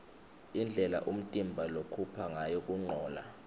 indlela umtimba lokhupha ngayo kuncola